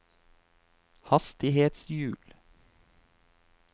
hastighetshjul